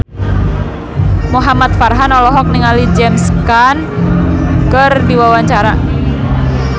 Muhamad Farhan olohok ningali James Caan keur diwawancara